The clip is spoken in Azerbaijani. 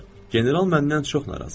General məndən çox narazı idi.